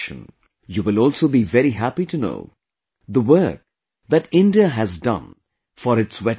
You will also be very happy to know the work that India has done for its wetlands